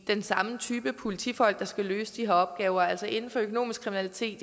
den samme type politifolk der skal løse de her opgaver altså inden for økonomisk kriminalitet